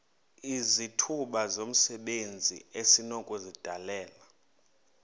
izithuba zomsebenzi esinokuzidalela